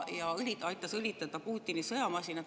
Ta aitas õlitada Putini sõjamasinat.